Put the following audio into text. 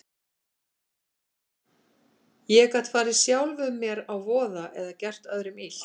Ég gat farið sjálfum mér að voða eða gert öðrum illt.